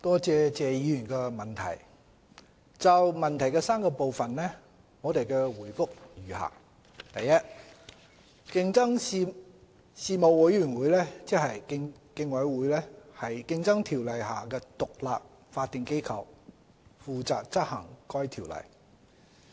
就質詢的3個部分，我的答覆如下：一競爭事務委員會是《競爭條例》下的獨立法定機構，負責執行該條例。